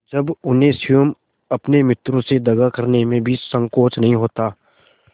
जब उन्हें स्वयं अपने मित्रों से दगा करने में भी संकोच नहीं होता